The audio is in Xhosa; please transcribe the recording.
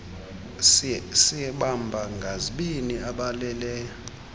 sibamba ngazibini abalele